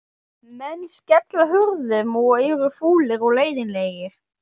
Menn skella hurðum og eru fúlir og leiðinlegir.